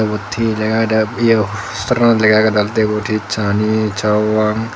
ebut he lega ageh de eyo poster anot lega ageh de olodeh ebuthe chani chowang.